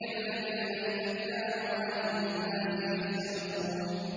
الَّذِينَ إِذَا اكْتَالُوا عَلَى النَّاسِ يَسْتَوْفُونَ